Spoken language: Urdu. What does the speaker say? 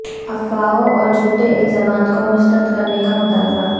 افواہوں اور جھوٹے الزامات کو مسترد کرنے کا مطالبہ